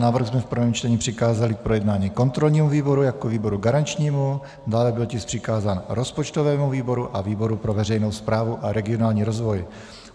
Návrh jsme v prvním čtení přikázali k projednání kontrolnímu výboru jako výboru garančnímu, dále byl tisk přikázán rozpočtovému výboru a výboru pro veřejnou správu a regionální rozvoj.